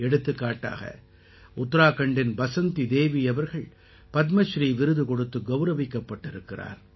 எடுத்துக்காட்டாக உத்தராக்கண்டின் பஸந்தி தேவி அவர்கள் பத்மஸ்ரீ விருது கொடுத்து கௌரவிக்கப்பட்டிருக்கிறார்